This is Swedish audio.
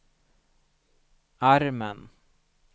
armen